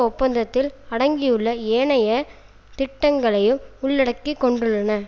ஒப்பந்தத்தில் அடங்கியுள்ள ஏனைய திட்டங்களையும் உள்ளடக்கி கொண்டுள்ளன